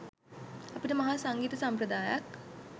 අපිට මහා සංගීත සම්ප්‍රදායක්